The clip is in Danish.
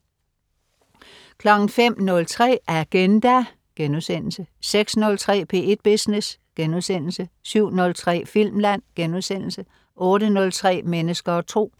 05.03 Agenda* 06.03 P1 Business* 07.03 Filmland* 08.03 Mennesker og Tro